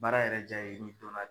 Baara yɛrɛ jaa ye n'i dɔnna